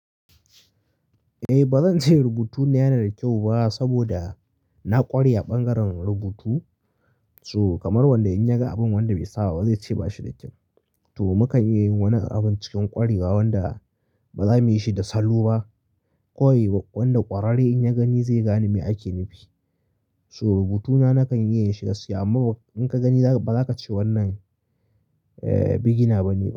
Eh ba zan ce rubutuna yana da kyau ba saboda na ƙware a ɓangaren rubutu. To kamar wanda in yaga abin wanda bai sababa zai ce bashi da kyau. To mukan iya yin wani abun cikin ƙwarewa wanda ba za muyi shi da salo ba. Kawai wanda ƙwararre in ya gani zai gane me ake nufi. To rubutuna nakan iya yin shi, amma in ka gani ba za ka ce wannan eh beginer bane ba.